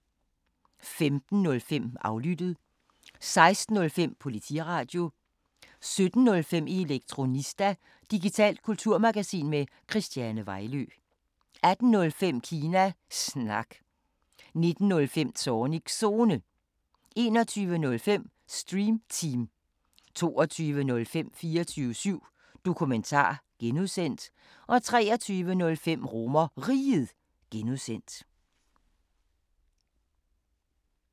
15:05: Aflyttet 16:05: Politiradio 17:05: Elektronista – digitalt kulturmagasin med Christiane Vejlø 18:05: Kina Snak 19:05: Zornigs Zone 21:05: Stream Team 22:05: 24syv Dokumentar (G) 23:05: RomerRiget (G)